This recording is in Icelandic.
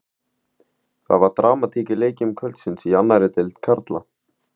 Það var dramatík í leikjum kvöldsins í annarri deild karla.